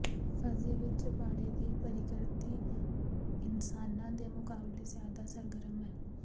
ਫਜ਼ੀ ਵਿਚ ਜਬਾੜੇ ਦੀ ਪ੍ਰਕਿਰਤੀ ਇਨਸਾਨਾਂ ਦੇ ਮੁਕਾਬਲੇ ਜ਼ਿਆਦਾ ਸਰਗਰਮ ਹੈ